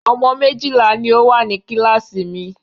Ọmọ méjìlá ní o wà ní kíláàsì mi.